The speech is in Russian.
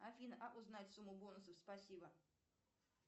афина а узнать сумму бонусов спасибо